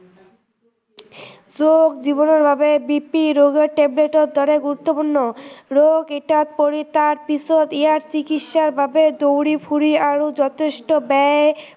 so জীৱনৰ বাবে BP ৰোগৰ tablet ৰ দৰে গুৰুত্ৱপূৰ্ণ, ৰোগ এটাত পৰি তাৰপিছত ইয়াৰ চিকিৎসাৰ বাবে দৈৰি ফুৰি আৰু যথেষ্ট